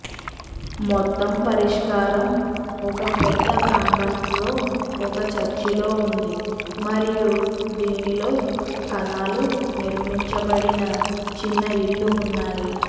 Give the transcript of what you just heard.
మొత్తం పరిష్కారం ఒక పెద్ద ప్రాంగణంలో ఒక చర్చిలో ఉంది మరియు దీనిలో కణాలు నిర్మించబడిన చిన్న ఇళ్ళు ఉన్నాయి